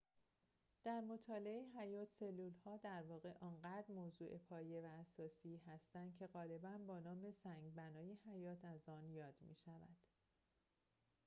در مطالعه حیات سلول‌ها در واقع آنقدر موضوع پایه و اساسی هستند که غالباً با نام سنگ بنای حیات از آن یاد می‌شود